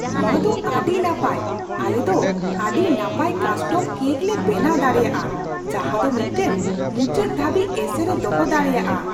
ᱱᱚᱶᱟ ᱫᱚ ᱟᱹᱰᱤ ᱱᱟᱯᱟᱭ ! ᱟᱞᱮ ᱫᱚ ᱟᱹᱰᱤ ᱱᱟᱯᱟᱭ ᱠᱟᱥᱴᱚᱢ ᱠᱮᱹᱠ ᱞᱮ ᱵᱮᱱᱟᱣ ᱫᱟᱲᱮᱭᱟᱜᱼᱟ ᱡᱟᱦᱟ ᱫᱚ ᱢᱤᱫᱴᱟᱝ ᱢᱩᱪᱟᱹᱫ ᱫᱷᱟᱹᱵᱤᱡ ᱮᱥᱮᱨ ᱮ ᱫᱚᱦᱚ ᱫᱟᱲᱮᱭᱟᱜᱼᱟ ᱾